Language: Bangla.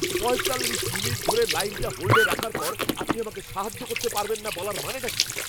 পঁয়তাল্লিশ মিনিট ধরে লাইনটা হোল্ডে রাখার পর আপনি আমাকে সাহায্য করতে পারবেন না বলার মানেটা কী?